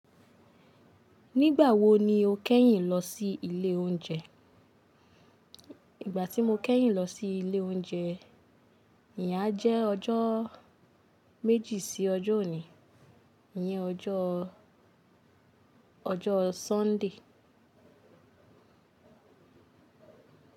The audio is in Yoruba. Nígbà wo ni o kẹ́yìn lọ sí ilé oúnjẹ? Ìgbà tí mo kẹ́yìn lọ sí ilé oúnjẹ, ìyá jẹ́ ọjọ́ méjì sí ọjọ́ òní, ni ọjọ́ ọjọ́ Sunday.